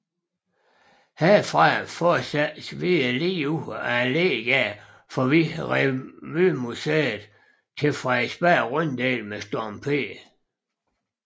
Herfra fortsattes videre ligeud ad Allégade forbi Revymuseet til Frederiksberg Runddel med Storm P